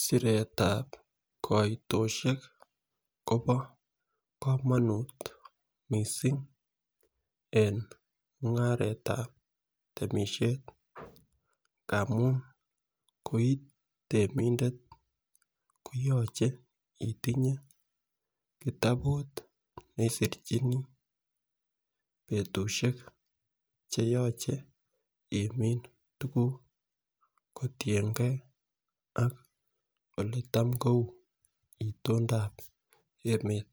Siretab koitoshek Kobo komonut missing en mungaretab temishet ngamun koitemindet koyoche itinye kitabut neisirchini betushek cheyoche imin tukuk kotiyengee ak oletam kou itondap emet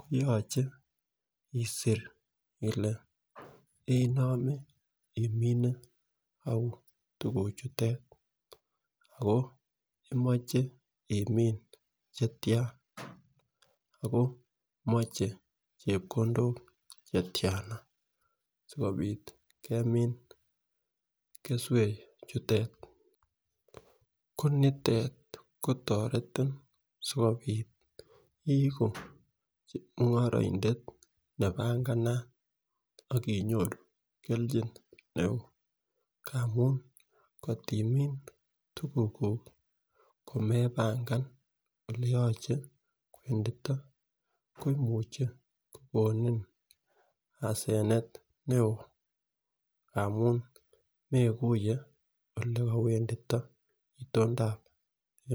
koyoche isir Ile inome ou tukuk chute ako imoche imin chetyan ako moche chepkondok chepkondok chetyan sikopit keswek chute. Ko nitet kotoreti sikopit iku chemungoroidet nepanganat akinyoru keljin neo agamun kotimin tukuk kuk komepanga oleyoche kowendito ko imuche kokonin asenet neo amun mekuye ole kowendito itondap emet.